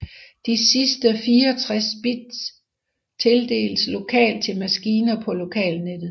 De sidste 64 bit tildeles lokalt til maskiner på lokalnettet